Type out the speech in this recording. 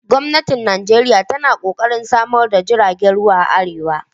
Gwamnati Nijeriya tana ƙoƙarin samar da tashar jiragen ruwan a arewa